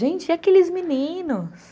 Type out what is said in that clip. Gente, e aqueles meninos?